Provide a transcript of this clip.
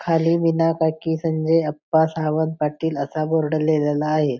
खाली वीणा काकी संजय अप्पा सावंत पाटील असा बोर्ड लिहिलेला आहे.